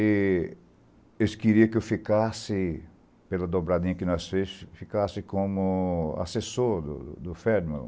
E eles queriam que eu ficasse, pela dobradinha que nós fizemos, como assessor do Ferdinand.